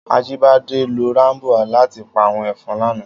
Ajibade ló ràmbó làtí pá áwòn efòn làná